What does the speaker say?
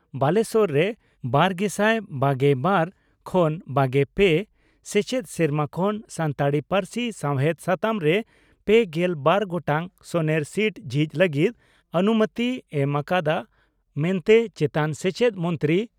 ᱵᱟᱞᱮᱥᱚᱨ ᱨᱮ ᱒᱐᱒᱒ᱼ᱒᱓ ᱥᱮᱪᱮᱫ ᱥᱮᱨᱢᱟ ᱠᱷᱚᱱ ᱥᱟᱱᱛᱟᱲᱤ ᱯᱟᱹᱨᱥᱤ ᱥᱟᱶᱦᱮᱫ ᱥᱟᱛᱟᱢ ᱨᱮ ᱓᱒ ᱜᱚᱴᱟᱝ ᱥᱚᱱᱮᱨ ᱥᱤᱴ ᱡᱷᱤᱡᱽ ᱞᱟᱹᱜᱤᱫ ᱚᱱᱩᱢᱚᱛᱤᱭ ᱮᱢ ᱟᱠᱟᱫᱼᱟ ᱢᱮᱱᱛᱮ ᱪᱮᱛᱟᱱ ᱥᱮᱪᱮᱫ ᱢᱚᱱᱛᱨᱤ